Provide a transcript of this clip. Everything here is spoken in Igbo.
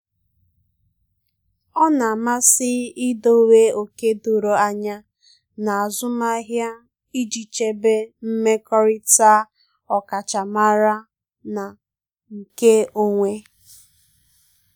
ọ na-amasị idowe ókè doro anya n'azụmahịa iji chebe mmekọrịta ọkachamara na nke onwe.